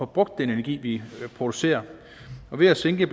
brugt den energi vi producerer og ved at sænke